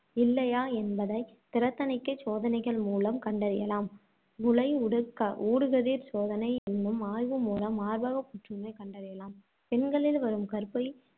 இல்லையா என்பதை திறத் தணிக்கைச் சோதனைகள் மூலம் கண்டறியலாம். முலை உடு~ ஊடுகதிர்ப்படச் சோதனை என்னும் ஆய்வு மூலம் மார்பகப் புற்றுநோய் கண்டறியலாம். பெண்களில் வரும் கருப்பை